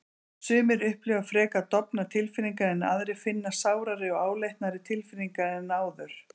Sumir upplifa frekar dofnar tilfinningar en aðrir finna sárari og áleitnari tilfinningar en áður.